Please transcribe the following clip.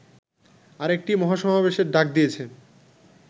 আরেকটি মহাসমাবেশের ডাক দিয়েছে